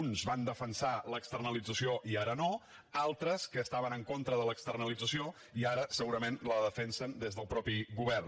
uns van defensar l’externalització i ara no altres estaven en contra de l’externalització i ara segurament la defensen des del mateix govern